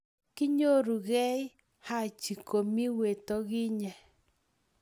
Kinyorukei Haji komii watokinyee.